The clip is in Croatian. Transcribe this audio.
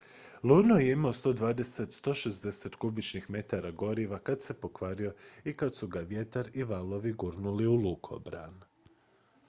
luno je imao 120-160 kubičnih metara goriva kad se pokvario i kad su ga vjetar i valovi gurnuli u lukobran